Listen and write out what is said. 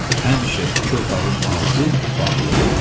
Həmişə iki otağın ağzı bağlı olardı.